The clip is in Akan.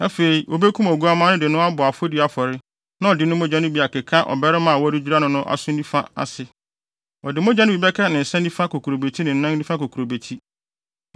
Afei, wobekum oguamma no de no abɔ afɔdi afɔre na ɔde ne mogya no bi akeka ɔbarima a wɔredwira no no aso nifa ase. Ɔde mogya no bi bɛka ne nsa nifa kokurobeti ne ne nan nifa kokurobeti.